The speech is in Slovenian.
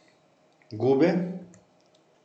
Gube?